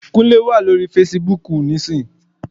Kúnlé wà lórí fesibúùkù nísinsìnyí